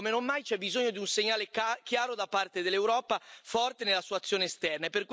Oggi come non mai c'è bisogno di un segnale chiaro da parte dell'Europa, forte nella sua azione esterna.